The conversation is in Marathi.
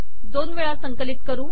दोन वेळा संकलित करू